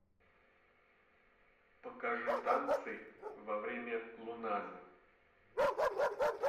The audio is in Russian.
покажи танцы во время луназы